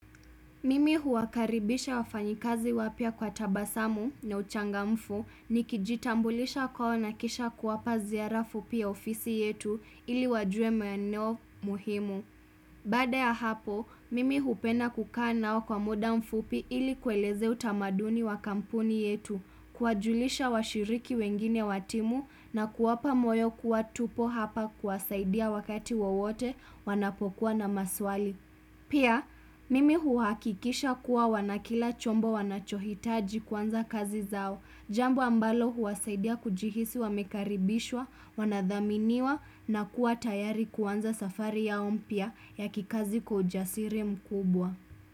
Mimi huwakaribisha wafanyikazi wapya kwa tabasamu na uchangamfu nikijitambulisha kwao nakisha kuwapa ziara fupi ya ofisi yetu ili wajuwe maeneo muhimu. Baada ya hapo, mimi hupenda kukanao kwa muda mfupi ili kuwaeleze utamaduni wa kampuni yetu, kuwajulisha washiriki wengine watimu na kuwapa moyo kuwa tupo hapa kuwasaidia wakati wawote wanapokuwa na maswali. Pia, mimi huwakikisha kuwa wana kila chombo wanachohitaji kuanza kazi zao, jambo ambalo huwasaidia kujihisi wamekaribishwa, wanadhaminiwa na kuwa tayari kuanza safari yao mpya ya kikazi kwa ujasiri mkubwa.